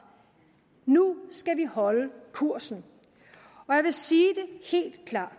nu skal vi holde kursen og jeg vil sige det helt klart